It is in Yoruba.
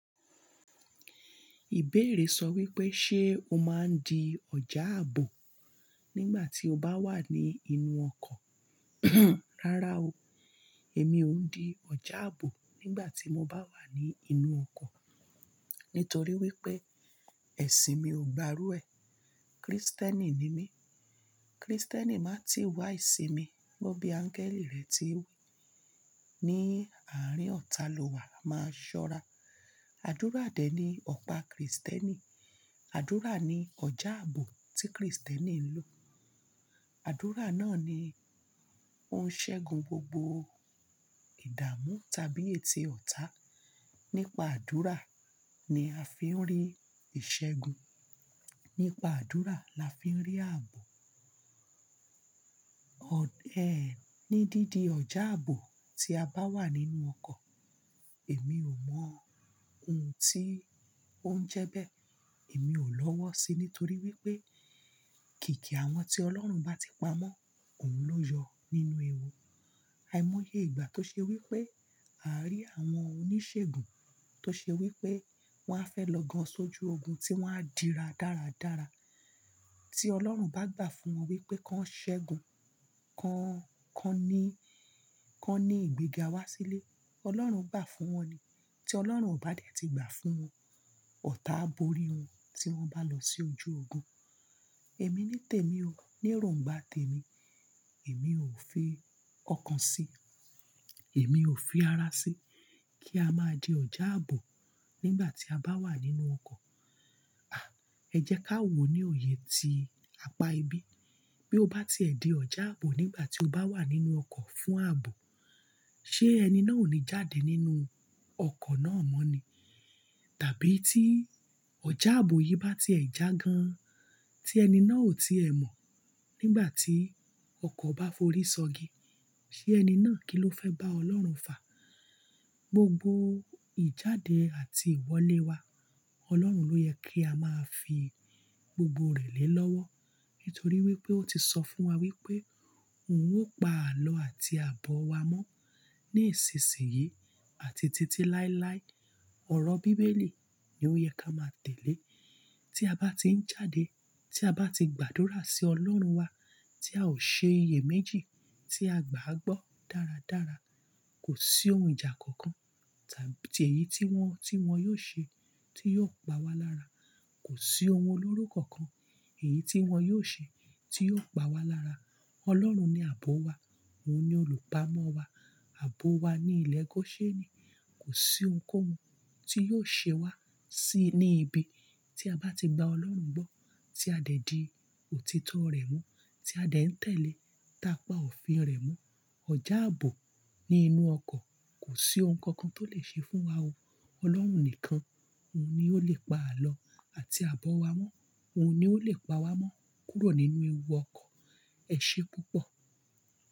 Ìbéèrè sọ wípé ṣe o máa ń di ọjà ààbò nígbà tí o bá wà ní inú ọkọ̀? Rárá o, èmi ò ń di ọjà ààbò nígbà tí mo bá wà ní inú ọkọ̀. Nítorí wípé ẹṣin mi ò gbárú ẹ, Krístẹ́nì ni mí. Krístẹ́nì máa ti wá ìṣinmi. Gẹ́gẹ́ bí áńgẹ́lì rẹ̀ ti wí, ní àárín ọ̀tá lọ́wa máa ṣọ́ra. Àdúrà dẹ̀ ní ọ̀pá Krístẹ́nì. Àdúrà ni ọjà ààbò tí Krístẹ́nì ń lò. Àdúrà náà ni ó ń ṣẹ́gun gbogbo ìdààmú tàbí ète ọ̀tá. Nípa àdúrà ni a fi ń rí ìṣẹ́gun. Nípa àdúrà la fi ń rí ààbò. Ọ̀, ẹ́, ní dídi ọjà ààbò tí a bá wà nínú ọkọ̀, èmi ò mọ ohun tí ó ń jẹ bẹ́ẹ̀. Èmi ò lọ́wọ́ síi nítorí wípé kìkì àwọn tí Ọlọ́run bá ti pamọ́, òun ló yọ nínú ewu. Àìmọye ìgbà tó ṣe wípé a rí àwọn oníṣègùn tó ṣe wípé wọ́n á fẹ́ lọ gan sójú ogun tí wọ́n á dira dáradára, tí Ọlọ́run bá gbà fún wọn wípé kan ṣẹ́gun, kan, kan ní, kan ní ìgbéga wá sílé, Ọlọ́run gbà fún wọn ni. Tí Ọlọ́run ò bá dẹ́ ti gbà fún wọn, ọ̀tá á bo ori wọn tí wọ́n bá lọ sí ojú ogun. Èmi ní tèmi o, ní èrońgbá tèmi, èmi ò fi ọkàn si, èmi ò fi ara si kí a máa di ọjà ààbò nígbà tí a bá wà nínú ọkọ̀. À, ẹ jẹ́ ká wo ní òye tí apá ibi. Bí ó bá ti ẹ di ọjà ààbò nígbà tí o bá wà nínú ọkọ̀ fún ààbò, ṣé ẹni náà ò ní jáde nínú ọkọ̀ náà mọ́ ni? Tàbí tí ọjà ààbò yìí bá ti ẹ já gan, tí ẹni náà ò ti ẹ mọ̀ nígbà tí ọkọ̀ bá forí sọgi, ṣé ẹni náà kí ló fẹ́ bá Ọlọ́run fà? Gbogbo ìjáde àti ìwọlé wa Ọlọ́run ló yẹ kí a máa fi gbogbo rẹ̀ lé lọ́wọ́. Nítorí wípé ó ti sọ fún wa wípé òun ó pa àlọ́ àti àbọ̀ wa mọ́ ní ìsinsìnyí àti títí láéláé. Ọ̀rọ̀ bíbélì ni ó yẹ ká máa tẹ̀lé. Tí a bá ti ń jáde, tí a bá ti gbàdúrà sí Ọlọ́run wa, tí a ò ṣe iye méjì tí a gbà á gbọ́ dáradára, kò sí ohun ìjà kankan tàbí èyí tí wọn, tí wọn yóò ṣe tí yóò pa wá lára. Kò sí ohun olóró kankan èyí tí wọn yóò ṣe tí yóò pa wá lára. Ọlọ́run ni àbọ̀ wa, òun ni olùpamọ́ wa. Àbọ̀ wa ní ilẹ̀ Góṣẹ́ẹ́ni. Kò sí ohunkóhun tí yóò ṣe wá sí ní ibi tí a bá ti gbá Ọlọ́run gbọ́, tí a de dì òtítọ́ rẹ̀ mú, tí a de ń tẹ̀lé, táa pa òfin rẹ̀ mú. Ọjà ààbò ní inú ọkọ̀ kò sí ohun kan kan tó lè ṣe fún wa o. Ọlọ́run nìkan, òun ni ó lè pa àlọ́ àti àbọ̀ wa mọ́. Òun ni ó lè pa wá mọ́ kúrò nínú ewu ọkọ̀. Ẹ ṣé púpọ̀.